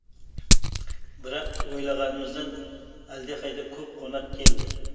бірақ ойлағанымыздан әлдеқайда көп қонақ келді